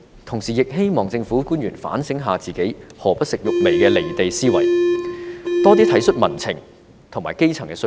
同時，我也希望政府官員反省自己"何不食肉糜"的"離地"思維，多體恤民情和基層的需要。